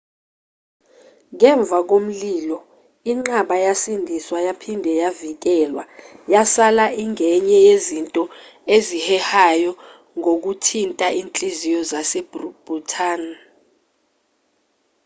ngemva komlilo inqaba yasindiswa yaphinde yavikelwa yasala ingenye yezinto ezihehayo ngokuthinta inhliziyo zase-bhutan